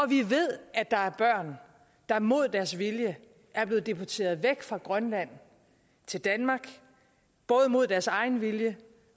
vi ved at der er børn der mod deres vilje er blevet deporteret væk fra grønland til danmark både mod deres egen vilje